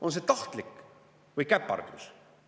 On see tahtlik või käpardlus?